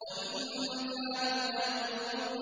وَإِن كَانُوا لَيَقُولُونَ